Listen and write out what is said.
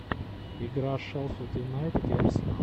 игра шеффилд юнайтед и арсенал